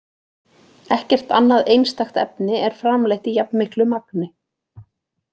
Ekkert annað einstakt efni er framleitt í jafnmiklu magni.